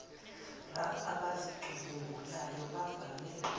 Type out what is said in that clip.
raf abazicubungulayo bavame